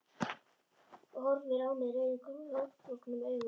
Og horfir á mig rauðum grátbólgnum augum.